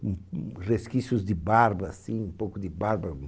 Hum, um, resquícios de barba, assim, um pouco de barba.